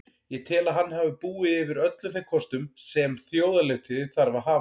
Ég tel að hann hafi búið yfir öllum þeim kostum sem þjóðarleiðtogi þarf að hafa.